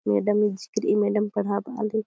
madam history madam पड़ात आली--